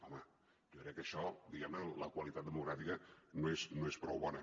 home jo crec que en això diguem ne la qualitat democràtica no és prou bona